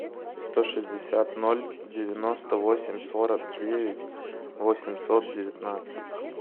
сто шестьдесят ноль девяносто восемь сорок девять восемьсот девятнадцать